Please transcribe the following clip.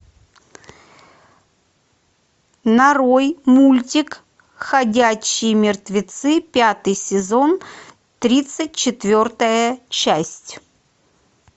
нарой мультик ходячие мертвецы пятый сезон тридцать четвертая часть